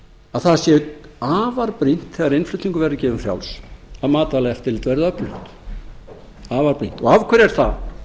að það sé afar brýnt þegar innflutningur verður gefinn frjáls að matvælaeftirlit verði öflugt afar brýnt af hverju er það